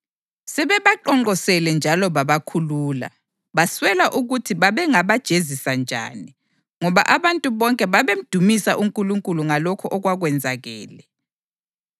Sebebaqonqosele njalo babakhulula. Baswela ukuthi babengabajezisa njani, ngoba abantu bonke babemdumisa uNkulunkulu ngalokho okwakwenzakele.